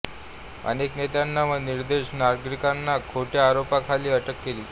अनेक नेत्यांना व निर्दोष नागरिकांना खोट्या आरोपाखाली अटक केली